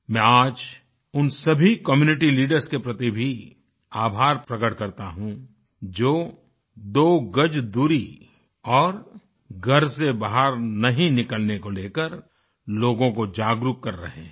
मैं आज उन सभी कम्यूनिटी लीडर्स के प्रति भी आभार प्रकट करता हूँ जो दो गज दूरी और घर से बाहर नहीं निकलने को लेकर लोगों को जागरूक कर रहे हैं